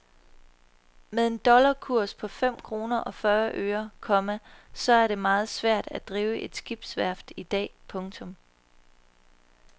Med en dollarkurs på fem kroner og fyrre øre, komma så er det meget svært at drive et skibsværft i dag. punktum